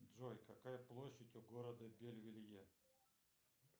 джой какая площадь у города бельвелье